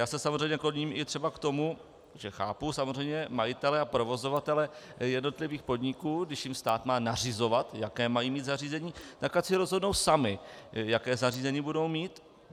Já se samozřejmě kloním i třeba k tomu, že chápu samozřejmě majitele a provozovatele jednotlivých podniků, když jim stát má nařizovat, jaké mají mít zařízení, tak ať si rozhodnou sami, jaké zařízení budou mít.